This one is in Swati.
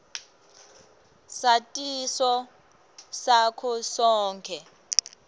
satiso nako konkhe